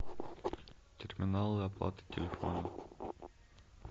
терминалы оплаты телефона